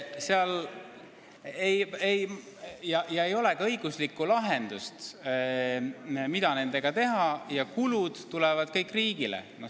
Ei ole ka õiguslikku lahendust, mida nendega teha, ja kulud tulevad kõik riigi kanda.